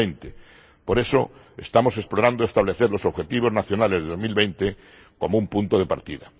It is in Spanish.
2020. Por eso, estamos explorando establecer los objetivos nacionales de 2020 como un punto de partida.